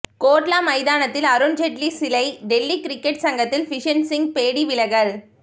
கோட்லா மைதானத்தில் அருண் ஜெட்லி சிலை டெல்லி கிரிக்கெட் சங்கத்தில் பிஷன் சிங் பேடி விலகல்